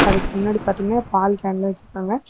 அதுக்கு பின்னாடி பாத்தீங்ன்னா பால் கேன்லா வெச்சிருக்காங்க.